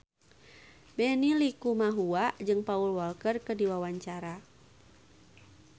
Benny Likumahua jeung Paul Walker keur dipoto ku wartawan